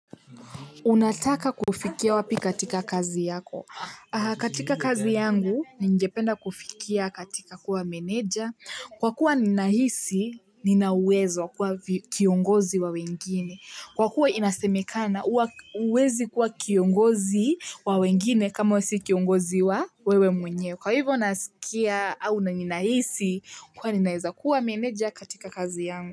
Unataka kufikia wapi katika kazi yako? Katika kazi yangu ningependa kufikia katika kuwa meneja kwa kuwa ninahisi nina uwezo kwa kiongozi wa wengine kwa kuwa inasemekana huwezi kuwa kiongozi wa wengine kama we si kiongozi wa wewe mwenyewe kwa hivyo naskia au ninahisi kuwa ninaezakuwa meneja katika kazi yangu.